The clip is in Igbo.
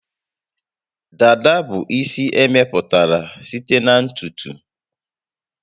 Dada bụ isi emepụtara site na ntutu